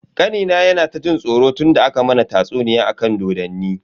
Kanina yana ta jin tsoro tunda aka mana tatsuniya akan dodonni.